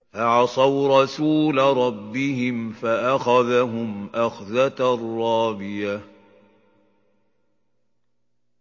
فَعَصَوْا رَسُولَ رَبِّهِمْ فَأَخَذَهُمْ أَخْذَةً رَّابِيَةً